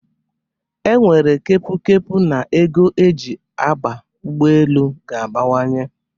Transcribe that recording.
E nwere kepu kepu n'ego e ji aba ụgbọ elu ga-abawanye.